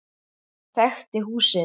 Þekkti húsið.